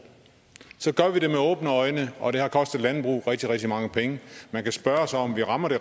gør vi det med åbne øjne og det har kostet landbruget rigtig rigtig mange penge man kan spørge sig om vi rammer de